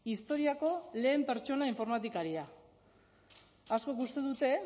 historiako lehen pertsona informatikaria askok uste dute